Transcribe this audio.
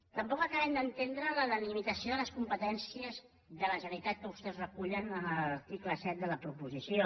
tampoc acabem d’entendre la delimitació de les com·petències de la generalitat que vostès regulen en l’ar·ticle set de la proposició